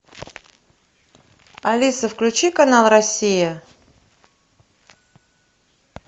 алиса включи канал россия